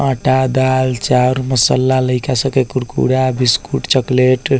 आटा दाल चाउर मसाला लइका सब के कुरकुरा बिस्कुट चॉक्लेट --